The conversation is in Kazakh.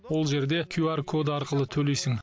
ол жерде кюар код арқылы төлейсің